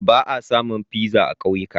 Ba a samun pizza a kauyuka.